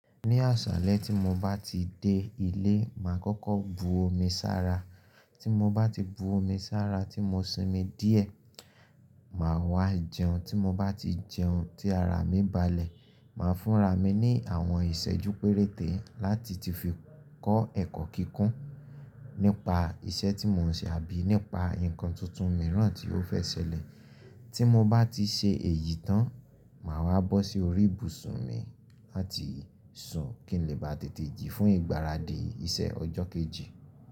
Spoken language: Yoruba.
Ní àṣálé tí mo bá ti dé ilé, màá kọ́kọ́ bu omi ṣára. Tí mo bá ti bu omi ṣára tí mo sinmi díẹ̀, màá wá jẹun. Tí mo bá ti jẹun tí ara mi balẹ̀, màá fúnra mi ní àwọn ìṣẹ́jú péréte láti ti fi kọ́ ẹ̀kọ́ kíkún nípa iṣẹ́ tí mò ń ṣe àbí nípa ǹkan tuntun mìíràn tí ó fẹ́ ṣẹlẹ̀. Tí mo bá ti ṣe èyí tán, màá wá bọ́ sí orí ibùsùn mi láti sùn kí n lè bá tètè jí fún ìgbáradì iṣẹ́ ọjọ́ kejì.